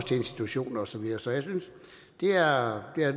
til institutioner og så videre jeg